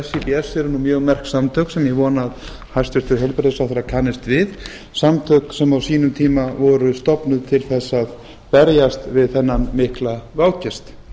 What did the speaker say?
eru mjög merk samtök sem ég vona að hæstvirtur heilbrigðisráðherra kannist við samtök sem á sínum tíma voru stofnuð til að berjast við þennan mikla vágest